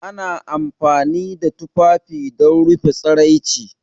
Ana amfani da tufafi don rufe tsiraici